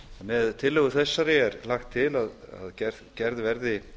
með tillögu þessari er lagt til að gerð verði